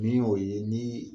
Min y'o ye , ni